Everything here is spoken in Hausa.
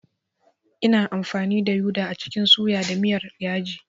Ina amfani da uda a cikin suya da miyar yaji.